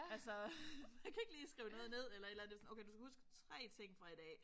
Altså man kan ikke lige skrive noget ned eller et eller andet. Det var sådan okay du skal huske 3 ting fra i dag